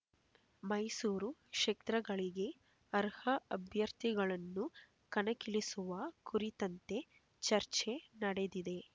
ಮೈಸೂರು ಕ್ಷೇತ್ರಗಳಿಗೆ ಅರ್ಹ ಅಭ್ಯರ್ಥಿಗಳನ್ನು ಕಣಕ್ಕಿಳಿಸುವ ಕುರಿತಂತೆ ಚರ್ಚೆ ನಡೆದಿದೆ